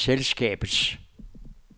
selskabets